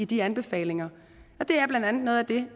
de anbefalinger og det er blandt andet noget af det